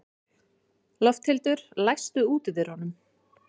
Lofthildur, læstu útidyrunum.